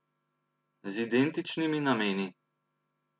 Z identičnimi nameni.